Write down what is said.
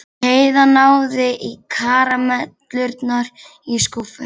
Heiða náði í karamellurnar í skúffunni.